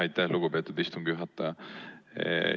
Aitäh, lugupeetud istungi juhataja!